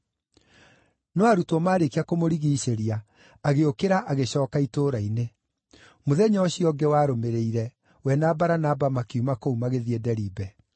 No arutwo maarĩkia kũmũrigiicĩria, agĩũkĩra agĩcooka itũũra-inĩ. Mũthenya ũcio ũngĩ warũmĩrĩire, we na Baranaba makiuma kũu magĩthiĩ Deribe.